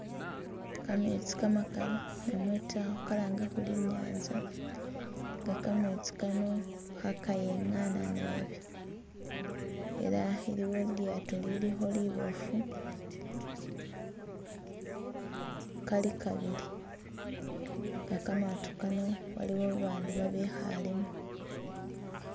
Kametsi kamakali namwe ta khuka lange khuri i'nyanza nga kametsi kano khakayengaana naabi ela iliwo lilyaato lilikho liboofu Kali kabili nga kamato kano waliwo babandu babekhale mo